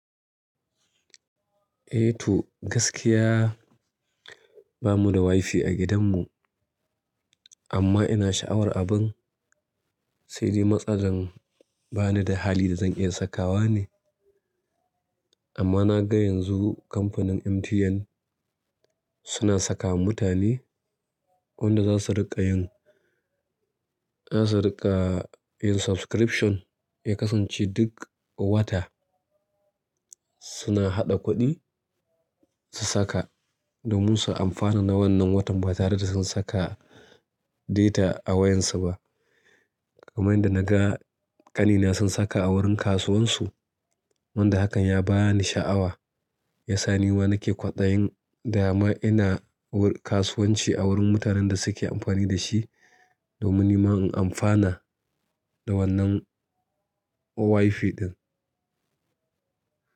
Eh to gaskiya bamu da WiFi a gidanmu amma ina sha'awar abin. Sai dai matsalar bani da hali da zan iya sakawa ne. Amma na ga yanzu kamfanin MTN suna sakawa mutane wanda za su riƙa yin, za su riƙa yin subscription ya kasance duk wata suna haɗa kuɗi su saka domin su amfana na wannan watan ba tare da sun saka data a wayar su ba. Kamar yadda na ga ƙanina sun saka a wurin kasuwansu wanda hakan ya ba ni sha'awa. Ya sa nima nake kwaɗayin dama ina kasuwanci a wurin mutanen da suke amfani da shi domin nima in amfana da wannan WiFi ɗin.